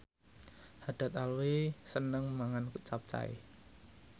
Haddad Alwi seneng mangan capcay